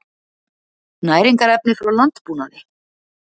Næringarefni frá landbúnaði